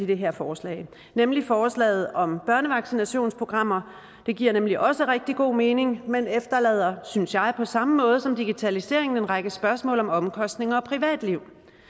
det her forslag nemlig forslaget om børnevaccinationsprogrammer det giver nemlig også rigtig god mening men efterlader synes jeg på samme måde som digitaliseringen en række spørgsmål om omkostninger og privatliv